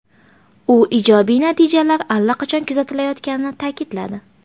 U ijobiy natijalar allaqachon kuzatilayotganini ta’kidladi.